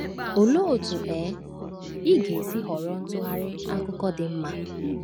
Olee otú um ị ga-esi họrọ ntụgharị akụkọ dị mma?